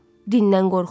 dindən qorxuruq.